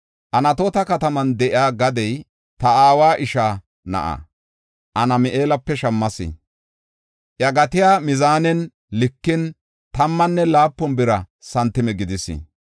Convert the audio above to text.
“Anatoota kataman de7iya gadiya ta aawa ishaa na7aa Hanami7eelape shammas. Iya gatiya mizaanen likin, tammanne laapun bira santime gidis.